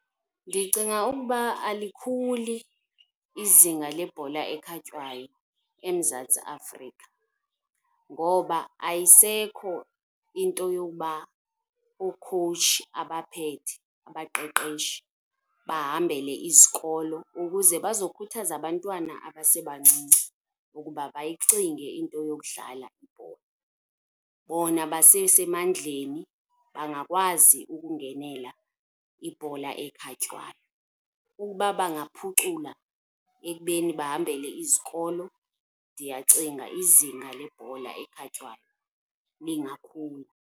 Ndicinga ukuba alikhuli izinga lebhola ekhatywayo eMzantsi Afrika. Ngoba ayisekho into yokuba okhowutshi abaphethe, abaqeqeshi, bahambele izikolo ukuze bazokhuthaza abantwana abasebancinci ukuba bayicinge into yokudlala ibhola, bona basesemandleni bangakwazi ukungenela ibhola ekhatywayo. Ukuba bangaphucula ekubeni bahambele izikolo ndiyacinga izinga lebhola ekhatywayo lingakhula.